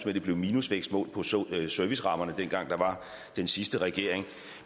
at det blev minusvækst målt på servicerammerne dengang der var den sidste regering